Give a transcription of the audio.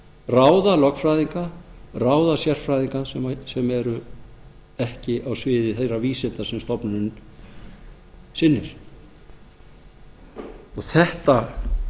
ráða lögfræðinga ráða sérfræðinga sem eru ekki á sviði þeirra vísinda sem stofnunin sinnir þetta